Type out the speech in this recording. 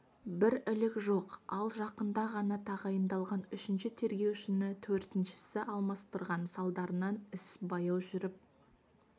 бір ілік жоқ ал жақында ғана тағайындалған үшінші тергеушіні төртіншісі алмастырған салдарынан іс баяу жүріп